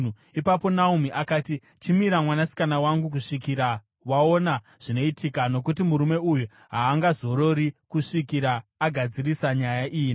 Ipapo Naomi akati, “Chimira, mwanasikana wangu, kusvikira waona zvinoitika. Nokuti murume uyu haangazorori kusvikira agadzirisa nyaya iyi nhasi.”